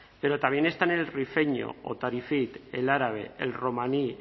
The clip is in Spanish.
pero también están el rifeño o tarifit el árabe el romaní